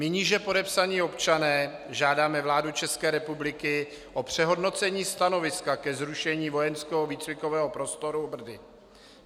"My níže podepsaní občané žádáme vládu České republiky o přehodnocení stanoviska ke zrušení vojenského výcvikového prostoru Brdy.